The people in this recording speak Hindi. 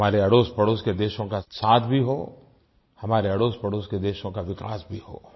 हमारे अड़ोसपड़ोस के देशों का साथ भी हो हमारे अड़ोसपड़ोस के देशों का विकास भी हो